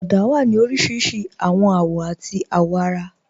Ọ̀dà wà ní oríṣiríṣí awọn awọ̀ àti awọ̀ara.